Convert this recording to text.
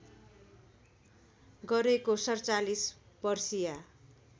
गरेको ४७ वर्षीया